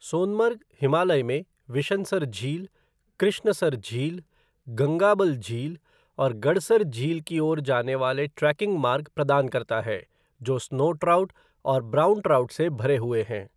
सोनमर्ग हिमालय में विशनसर झील, कृष्णसर झील, गंगाबल झील और गडसर झील की ओर जाने वाले ट्रेकिंग मार्ग प्रदान करता है, जो स्नो ट्राउट और ब्राउन ट्राउट से भरे हुए हैं।